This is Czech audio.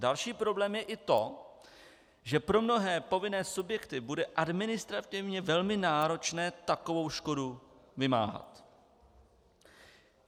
Další problém je i to, že pro mnohé povinné subjekty bude administrativně velmi náročné takovou škodu vymáhat.